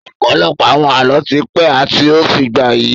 Ọ̀pọ̀lọpọ̀ àwọn Àlọ́ ti pẹ́ àti ó ń fìgbà yi